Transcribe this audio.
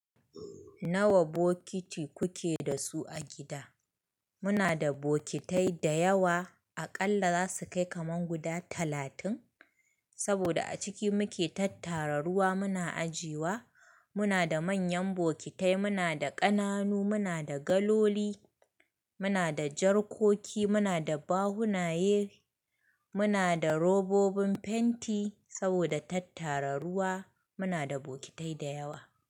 Nawa bokiti kuke da su a gida? Muna da bokitai da yawa. Aƙalla za su kai kaman guda talatin. Saboda a ciki muke tattara ruwa muna ajiyewa. Muna da manyan bokitai, muna da ƙananu, muna da galoli, muna da jarkoki, muna da bahunaye, muna da robobin fenti. Saboda tattara ruwa muna da bokitai da yawa.